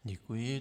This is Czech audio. Děkuji.